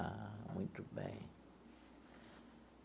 Ah, muito bem.